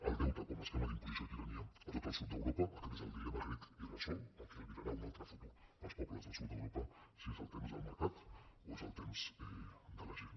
el deute com a esquema d’imposició i tirania a tot el sud d’europa aquest és el dilema grec irresolt el que albirarà un altre futur per als pobles del sud d’europa si és el temps del mercat o és el temps de la gent